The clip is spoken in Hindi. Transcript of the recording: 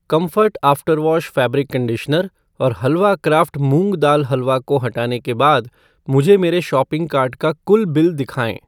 कम्फ़र्ट आफ़्टरवॉश फ़ैब्रिक कंडीशनर और हलवा क्राफ़्ट मूंग दाल हलवा को हटाने के बाद मुझे मेरे शॉपिंग कार्ट का कुल बिल दिखाएँ